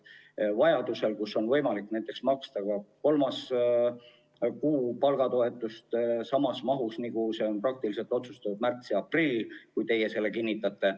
Näiteks vajaduse korral on võimalik maksta ka kolmanda kuu eest palgatoetust samas mahus, nagu see on praktiliselt otsustatud märtsi ja aprilli puhul, kui te selle kinnitate.